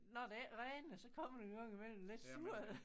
Når det ikke regner så kommer der en gang imellem lidt surl